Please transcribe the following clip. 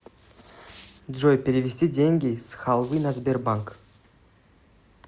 джой перевести деньги с халвы на сбербанк